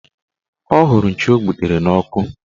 Ọ hụrụ nchi o gbutere n'ọkụ